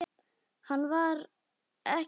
Hann var ekki einn.